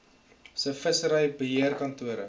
se vissery beheerkantore